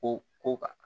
Ko ko kan